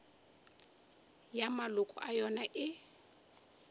ya maloko a yona e